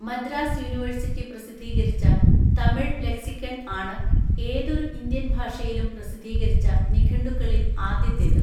Madras university പ്രസിദ്ധീകരിച്ച Tamil lexicon ആണ് ഏതൊരു ഇന്ത്യൻ ഭാഷയിലും പ്രസിദ്ധീകരിച്ച നിഘണ്ടുക്കളിൽ ആദ്യത്തേത്.